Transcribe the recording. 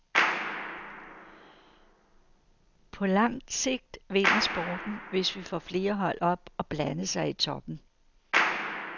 På lang sigt vinder sporten, hvis vi får flere hold op og blande sig i toppen.